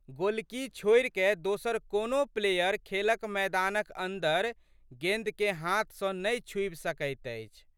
गोलकी छोड़िकए दोसर कोनो प्लेयर खेलक मैदानक अंदर गेंदकेँ हाथ सँ नहि छूबि सकैत अछि।